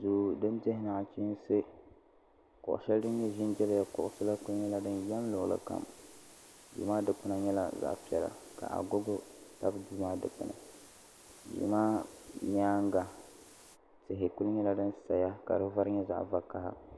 Duu din dihi nachinsi kuɣu sheli din nyɛ zinjibya kuɣusi la kuli nyɛla din yam luɣuli kam duu maa dikpina nyɛla zaɣa piɛla ka agogo yili duu maa dikpini duu maa nyaanga tihi kuli nyɛla din saya ka di vari nyɛ zaɣa vakaha.